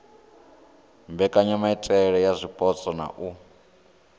mbekanyamaitele ya zwipotso na u